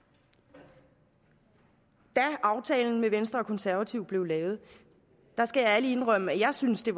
da aftalen med venstre og konservative blev lavet skal jeg ærlig indrømme at jeg synes det